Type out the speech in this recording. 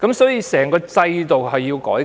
所以，其實整個制度也需要改革。